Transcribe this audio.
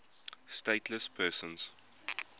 stateless persons